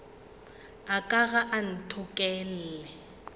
a ka ga a ntokolle